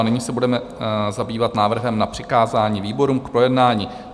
A nyní se budeme zabývat návrhem na přikázání výborům k projednání.